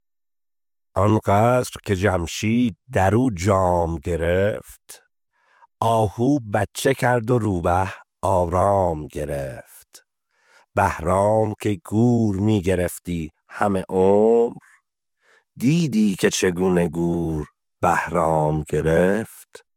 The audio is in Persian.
آن قصر که جمشید در او جام گرفت آهو بچه کرد و روبه آرام گرفت بهرام که گور می گرفتی همه عمر دیدی که چگونه گور بهرام گرفت